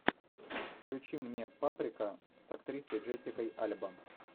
включи мне паприка с актрисой джессикой альба